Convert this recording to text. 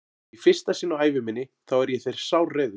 Og í fyrsta sinn á ævi minni þá er ég þér sárreiður.